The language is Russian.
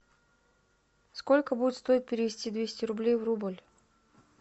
сколько будет стоить перевести двести рублей в рубль